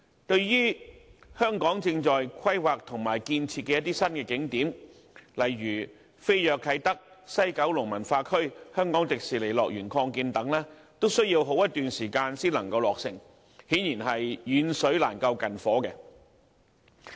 至於香港正在規劃和建設的一些新景點，例如飛躍啟德、西九文化區和香港迪士尼樂園擴建等，均要好一段時間才能落成，顯然是遠水難救近火。